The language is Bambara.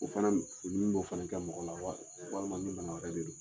O fana ni ni k'o fana da mɔgɔ la wali walima ni banabagatɔ don